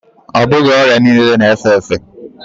Ọ bụghị ọrịa niile na efe efe